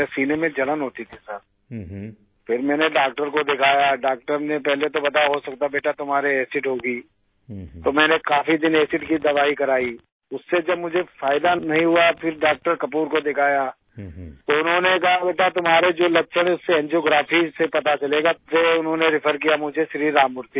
सीने में जलन होती थी सिर फिर मैंने डॉक्टर को दिखाया डॉक्टर ने पहले तो बताया हो सकता है बेटा तुम्हारे एसिड होगी तो मैंने काफी दिन एसिड की दवाई कराई उससे जब मुझे फायदा नहीं हुआ फिर डॉक्टर कपूर को दिखाया तो उन्होंने कहा बेटा तुम्हारे जो लक्षण हैं उससे एंजियोग्राफी से पता चलेगा फिर उन्होंने रेफर किया मुझे श्री राम मूर्ति में